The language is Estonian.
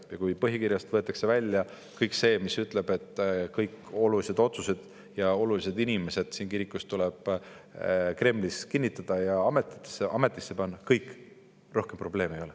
Ja kui põhikirjast võetakse välja kõik see, mis ütleb, et kõik olulised otsused ja olulised inimesed siin kirikus tuleb Kremlis kinnitada ja ametisse panna, siis rohkem probleeme ei oleks.